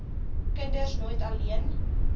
kinders nooit alleen